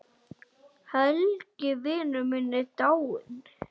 Helgi vinur minn er dáinn.